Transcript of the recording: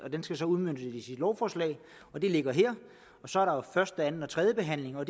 skal udmøntes i et lovforslag og det ligger her og så er der jo første anden og tredje behandling hvor